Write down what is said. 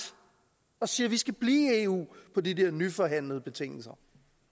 og siger vi skal blive i eu på de nyforhandlede betingelser